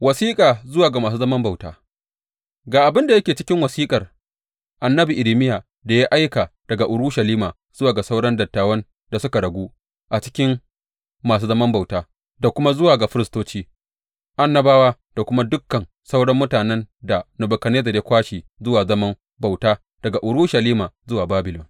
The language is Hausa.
Wasiƙa zuwa ga masu zaman bauta Ga abin da yake cikin wasiƙar annabi Irmiya da ya aika daga Urushalima zuwa ga sauran dattawan da suka ragu a cikin masu zaman bauta da kuma zuwa ga firistoci, annabawa da kuma dukan sauran mutanen da Nebukadnezzar ya kwashe zuwa zaman bauta daga Urushalima zuwa Babilon.